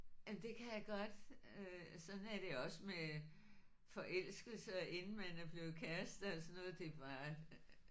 Ja det kan jeg godt øh sådan er det også med forelskelse og inden man er blevet kærester og sådan noget det er bare